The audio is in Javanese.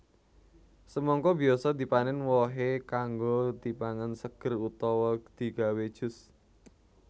Semangka biasa dipanèn wohé kanggo dipangan seger utawa digawé jus